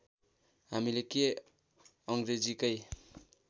हामीले के अङ्ग्रेजीकै